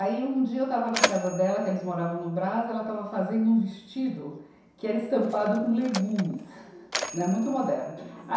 Aí, um dia, eu estava na casa dela, que eles moravam no Brás, e ela estava fazendo um vestido que era estampado com legumes, né, muito moderno.